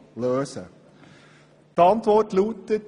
Die Antwort lautet: